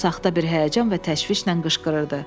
O saxta bir həyəcan və təşvişlə qışqırırdı.